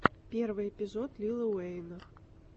первый эпизод лила уэйна